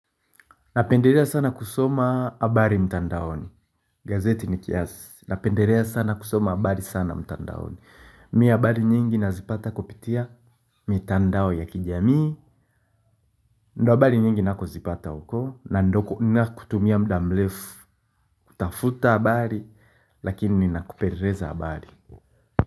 Napendelea sana kusoma habari mtandaoni. Gazeti ni kiasi. Napendelea sana kusoma habari sana mtandaoni. Mimi habari nyingi nazipata kupitia mitandao ya kijamii. Ndo habari nyingi nakozipata huko na ndo natumia mda mrefu. Tafuta habari lakini mimi ninakupeleza habari.